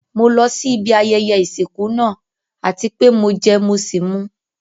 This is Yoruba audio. Mo lọ sí ibi ayẹyẹ ìsìnkú náà àti pé mo jẹ mọ́ sì mú.